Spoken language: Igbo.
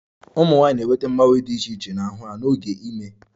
Ụmụ nwanyị na-enweta mgbanwe dị iche iche n'ahụ ha n'oge ime